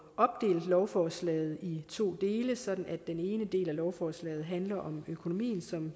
opdelt lovforslaget i to dele sådan at den ene del af lovforslaget handler om økonomien som